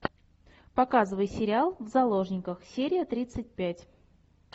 показывай сериал в заложниках серия тридцать пять